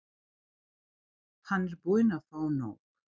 Hann er búinn að fá nóg.